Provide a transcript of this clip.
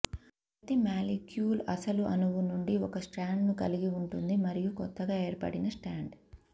ప్రతి మాలిక్యూల్ అసలు అణువు నుండి ఒక స్ట్రాండ్ను కలిగి ఉంటుంది మరియు కొత్తగా ఏర్పడిన స్ట్రాండ్